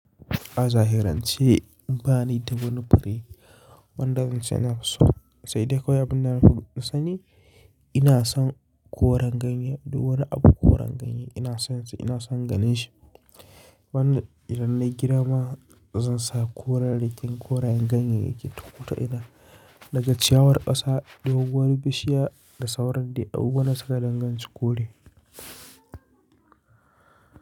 A zahirance ba ni da wani fure, wanda zan ce nafi so. Sai dai akwai abin da na fi sani, ina son koren ganye. Duk wani abu koren ganye ina son shi, ina son ganin shi. Wanda idan nayi gidama zan sa koren, korayen ganye yake takota ina. Daga ciyawar ƙasa, doguwar bishiya da sauran dai abubuwan da suka danganci kore.